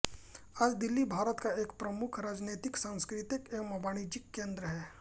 आज दिल्ली भारत का एक प्रमुख राजनैतिक सांस्कृतिक एवं वाणिज्यिक केन्द्र है